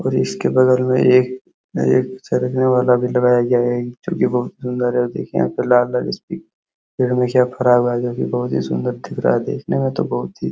और इसके बगल में एक एक चढ़ने वाला भी लगाया गया है। एक जो कि बहोत सुंदर है। देखिए यहां पे लाल-लाल इसपे हमेशा फरा हुआ है जो कि बहोत ही सुंदर दिख रहा है। देखने में तो बहोत ही --